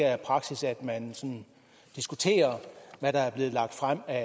er praksis at man sådan diskuterer hvad der er blevet lagt frem af